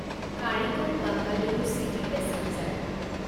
কাৰিকল Bengaluru city passenger